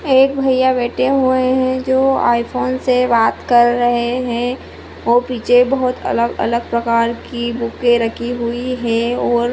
एक भैया बैठे हुए है जो आईफोन से बात कर रहे है और पीछे बहुत अलग अलग प्रकार की बुके रखी हुई है और --